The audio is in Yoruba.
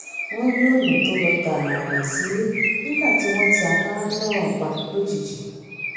wón rí ònà tó lọ tààrà sílé nígbà tí wón ti afárá náà pa lójijì